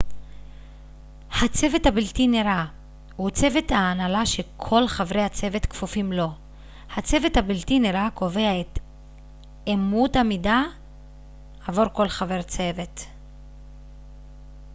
ה צוות הבלתי נראה הוא צוות ההנהלה שכל חברי הצוות כפופים לו הצוות הבלתי נראה קובע את את אמות המידה עבור כל חבר צוות